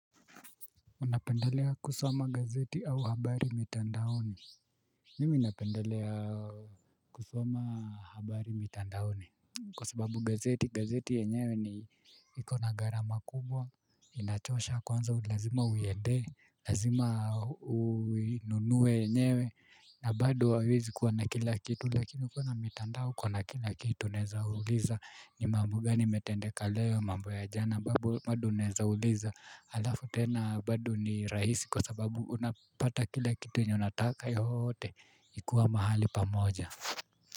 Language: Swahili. Unapendelea kusoma gazeti au habari mitandaoni? Mimi napendelea kusoma habari mitandaoni? Kwa sababu gazeti, gazeti yenyewe ni ikona gharama kubwa, inatosha kwanza lazima uiende, lazima ununuwe enyewe, na bado haiwezi kuwa na kila kitu, lakini kuwa na mitandao uko na kila kitu naeza uliza, ni mambo gani yametendeka leo mambo ya jana, bado naezauliza, halafu tena bado ni rahisi kwa sababu unapata kila kitu yenye unataka yote ikuwa mahali pamoja.